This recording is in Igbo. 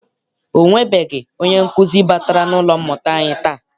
Ọ nwebeghị onye nkụzi batara n'ụlọ mmụta anyi taa.